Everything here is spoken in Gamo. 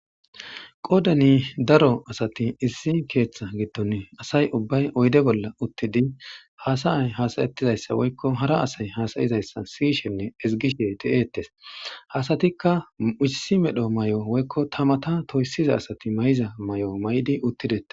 qoodani daro asati issi keeththa gitton asay ubbay oyde bolla uttidi haasayay hasayettizayssa woykko hara asay hasayizayssa siyishenne ezgishe ti7eetes hasatikka ussi medho may7o woykko tamata toyssiza asati may7iza may7o may7di uttidee